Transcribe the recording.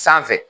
Sanfɛ